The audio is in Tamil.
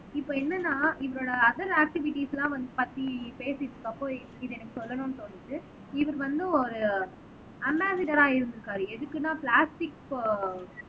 இப்ப என்னன்னா இவரோட அதர் ஆக்டிவிடீஸ் எல்லாம் வந்து பத்தி பேசிட்டு இருக்கற அப்போ இது எனக்கு சொல்லணும்ன்னு தோணுது இவரு வந்து, ஒரு அம்பாசிட்டரா இருந்திருக்காரு எதுக்குன்னா பிளாஸ்டிக்